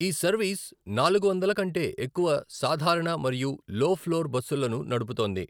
ఈ సర్వీస్ నాలుగు వందలు కంటే ఎక్కువ సాధారణ మరియు లో ఫ్లోర్ బస్సులను నడుపుతోంది.